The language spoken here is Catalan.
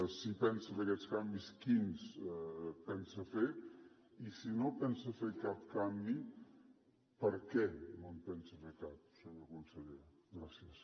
si pensa fer aquests canvis quins pensa fer i si no pensa fer cap canvi per què no en pensa fer cap senyor conseller gràcies